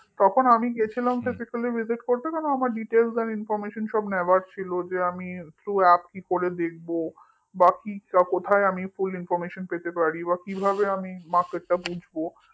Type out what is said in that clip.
তখন আমি গিয়েছিলাম physicallyvisit করতে কারণ আমার details আর information সব নেওয়ার ছিল যে আমি throughapp কি করে দেখব কোথায় আমি fullinformation পেতে পারি বা কিভাবে আমি market টা বুঝবো